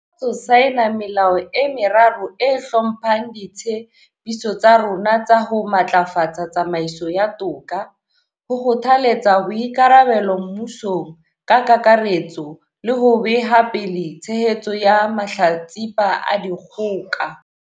Ke sa tswa saena melao e meraro e hlomphang ditshe piso tsa rona tsa ho matlafatsa tsamaiso ya toka, ho kgothaletsa boikarabelo mmusong ka kakaretso le ho beha pele tshehetso ya mahlatsipa a dikgoka.